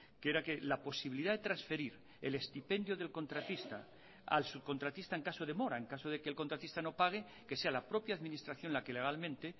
que era que la posibilidad de transferir el estipendio del contratista al subcontratista en caso de mora en caso de que el contratista no pague que sea la propia administración la que legalmente